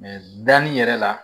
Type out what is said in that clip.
danni yɛrɛ la